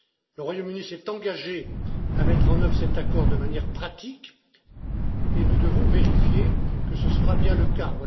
Le Royaume Uni s'est engagé à mettre en œuvre cet accord de manière pratique et nous devons vérifier que ce sera bien le